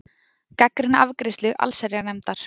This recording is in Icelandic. Gagnrýna afgreiðslu allsherjarnefndar